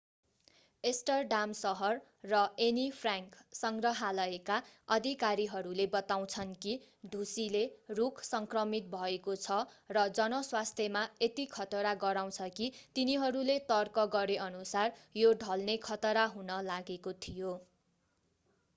Amsterdam सहर र Anne Frank सङ्ग्रहालयका अधिकारीहरूले बताउँछन् कि ढुसीले रूख सङ्क्रमित भएको छ र जनस्वास्थ्यमा यति खतरा गराउँछ कि तिनीहरूले तर्क गरेअनुसार यो ढल्ने खतरा हुन लागेको थियो